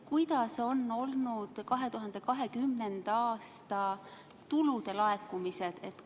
Kuidas on olnud 2020. aasta tulude laekumised?